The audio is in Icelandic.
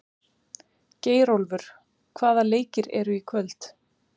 Geirólfur, hvaða leikir eru í kvöld?